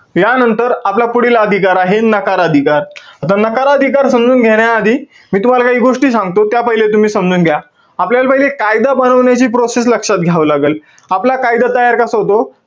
यांनतर आपला पुढील अधिकार आहे, नकार अधिकार. आता नकार अधिकार समजून घेण्याआधी, मी तुम्हाला काही गोष्टी सांगतो. त्या पहिले तुम्ही समजून घ्या. आपल्याला पहिले कायदा बनवण्याची process लक्षात घ्यावी लागंल. आपला कायदा कसा तयार होतो?